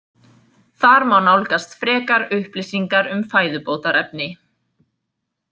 Þar má nálgast frekar upplýsingar um fæðubótarefni.